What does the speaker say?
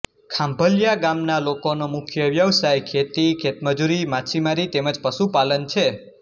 ખાંભલીયા ગામના લોકોનો મુખ્ય વ્યવસાય ખેતી ખેતમજૂરી માછીમારી તેમ જ પશુપાલન છે